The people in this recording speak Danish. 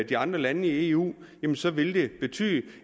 de andre lande i eu så vil det betyde